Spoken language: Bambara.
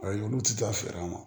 Ayi olu ti taa fɛ an ma